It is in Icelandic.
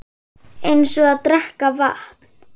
Eins og að drekka vatn.